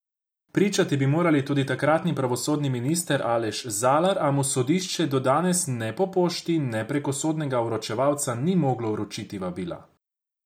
Pričati bi moral tudi takratni pravosodni minister Aleš Zalar, a mu sodišče do danes ne po pošti ne preko sodnega vročevalca ni moglo vročiti vabila.